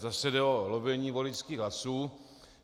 Zase jde o volení voličských hlasů.